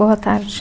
Boa tarde.